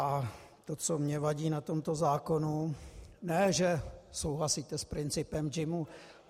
A to, co mně vadí na tomto zákonu, ne že souhlasíte s principem JIMu.